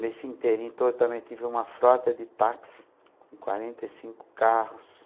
Nesse inteirinho todo, eu também tive uma frota de táxi com quarenta e cinco carros.